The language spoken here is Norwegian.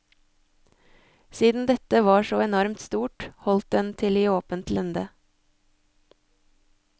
Siden dette var så enormt stort holdt den til i åpent lende.